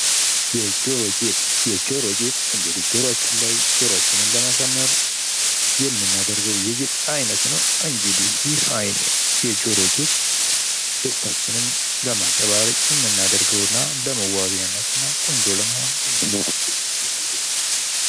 የጆሮ ጌጥ፡- የጆሮ ጌጥ እንግዲህ ጆሯችን ላይ ጆሮአችንን ለማሳመር የምናደርገው የጌጥ አይነት ነው። እንግዲህ ይሄ የጌጥ አይነት ደስታችንን ለማንጸባረቅ እና ለመዋቢያነት ቆንጆ ለመሆን የምናደርገው የጌጥ ዓይነት ነው።